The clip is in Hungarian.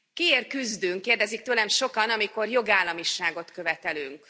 Kiért küzdünk, kérdezik tőlem sokan, amikor jogállamiságot követelünk.